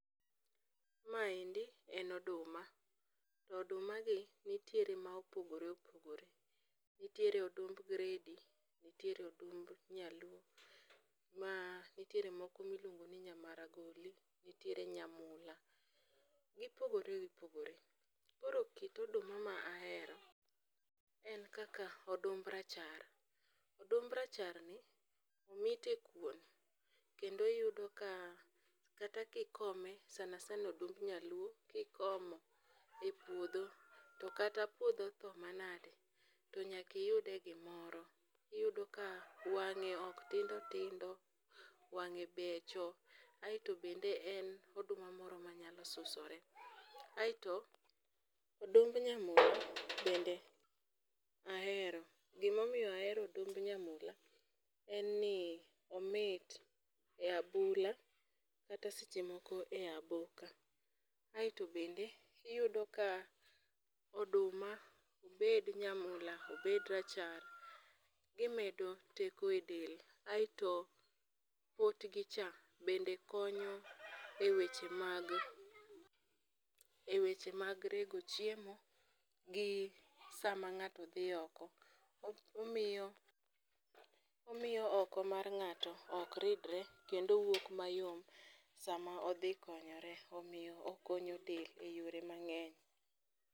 Maendi en oduma. Oduma gi nitiere ma opogore opogore. Nitiere odumb gredi, nitiere odumb nyaluo ma nitiere moko miluongo ni nya maragoli, nitiere nyamula. Koro gipogore gipogore. Koro kit oduma ma ahero en kaka odumb rachar. Odumb racharni omit e kuon kendo yudo ka kata kikome sana sana odumb nyaluo kikomo e puodho, to kata puodho otho manade to nyaka iyudie gimoro. Iyudo ka wang'e ok tindo tindo, wang'e beche becho. Aeto odumb nyamula bende ahero. Gima omiyo ahero odumb nyamula en ni omit e abula kata seche moko e aboka aeto bende iyudo ka oduma obed nyamula, obed rachar gimedo teko e del aeto potgicha bende konyo eweche mag rego chiemo gi sama ng'ato dhi oko omiyo oko mar ng'atomok ridre kendo wuok mayom sama odhi konyore omiyo okonyo del eyore mang'eny.